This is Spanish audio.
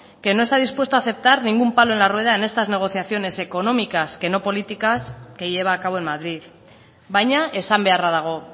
que no está dispuesto a aceptar ningún palo en la rueda en estas negociaciones económicas que no políticas que lleva a cabo en madrid baina esan beharra dago